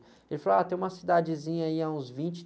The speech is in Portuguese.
Ele falou, ah, tem uma cidadezinha aí a uns vinte